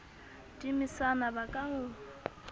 di mesana ba ka o